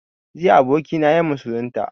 Jiya abokina ya musulunta